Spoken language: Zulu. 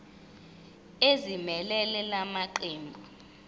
ezimelele la maqembu